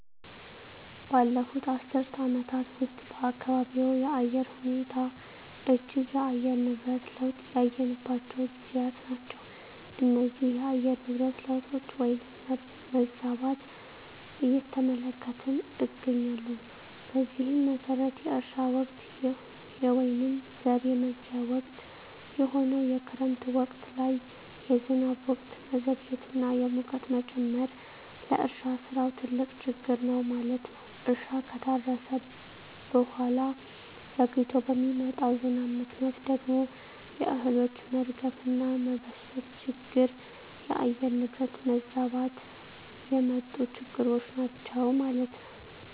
ባለፉት አስርት ዓመታት ውስጥ በአካባቢዎ የአየር ሁኔታ እጅግ የአየር ነብረት ለውጥ ያየንባቸው ጊዜያት ናቸው እነዚህ የአየር ንብረት ለውጦች ወይንም መዛባት እየተመለከትን እገኛለን በዚህም መሠረት የእርሻ ወቅት የወይንም ዘር የመዝርያ ወቅት የሆነው የክረምት ወቅት ላይ የዝናብ ወቅት መዘግየት እና የሙቀት መጨመር ለእርሻ ስራው ትልቅ ችግር ነው ማለት ነው እርሻ ከታረሠ በሁዋላ ዘግይቶ በሚመጣው ዝናብ ምክንያት ደግሞ የእህሎች መርገፍ እና መበስበስ ችግር የአየር ንብረት መዛባት የመጡ ችግሮች ናቸው ማለት ነው።